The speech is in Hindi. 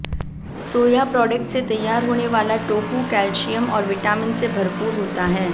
सोया प्रोडक्ट से तैयार होने वाला टोफू कैल्शियम और विटामिन से भरपूर होता है